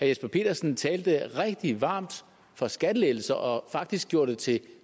jesper petersen talte rigtig varmt for skattelettelser og faktisk gjorde det til